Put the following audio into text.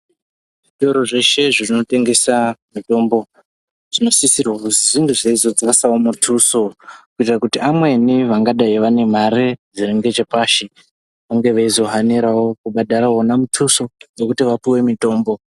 Zvitoro zveshe zvinotengesa mitombo zvinosisirwa kuzi zvinge zveizodzasawo mutuso kuitire kuti amweni vangadai vane mare dziringeche pashi vangezvizohanirawo kubhadhara wona mutuso dzekuti vapiwe mutombo.